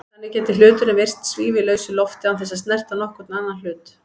Þannig gæti hluturinn virst svífa í lausu lofti án þess að snerta nokkurn annan hlut.